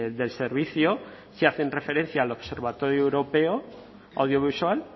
del servicio sí hacen referencia al observatorio europeo audiovisual